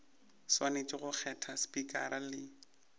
swanetše go kgetha spikara le